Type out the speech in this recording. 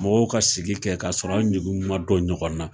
Mɔgɔw ka sigi kɛ k'a sɔrɔ an ɲugu ma don ɲɔgɔn na